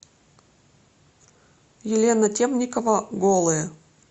елена темникова голые